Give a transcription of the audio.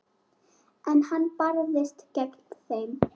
En hann barðist gegn þeim.